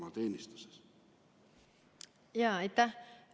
Aitäh!